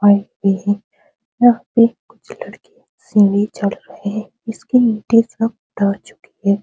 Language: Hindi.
और ये है यह एक कुछ लड़कियाँ सीढ़ी चढ़ रही हैं इसके ईंटें सब ढह चुके हैं।